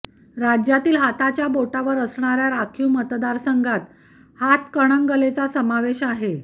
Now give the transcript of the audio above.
राज्यातील हाताच्या बोटावर असणाऱ्या राखीव मतदारसंघात हातकणंगलेचा समावेश आहे